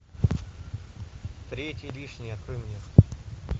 третий лишний открой мне